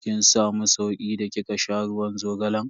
Kin samu sauki da kika sha ruwan zogalan?